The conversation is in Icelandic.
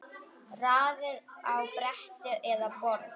Raðið á bretti eða borð.